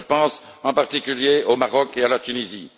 Je pense, en particulier, au Maroc et à la Tunisie.